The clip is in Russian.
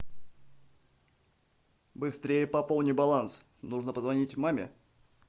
быстрее пополни баланс нужно позвонить маме